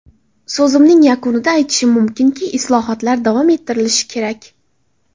So‘zimning yakunida aytishim mumkinki, islohotlar davom ettirilishi kerak.